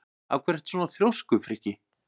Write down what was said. Af hverju ertu svona þrjóskur, Frikki?